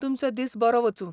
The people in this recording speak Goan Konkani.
तुमचो दीस बरो वचूं.